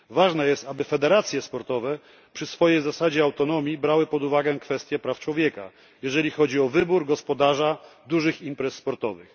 Ważne jest, aby federacje sportowe przy swojej zasadzie autonomii brały pod uwagę kwestie praw człowieka, jeżeli chodzi o wybór gospodarza dużych imprez sportowych.